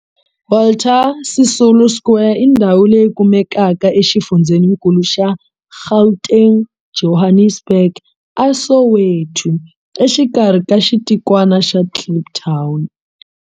Walter Sisulu Square i ndhawu leyi kumekaka exifundzheninkulu xa Gauteng, Johannesburg, a Soweto, exikarhi ka xitikwana xa Kliptown.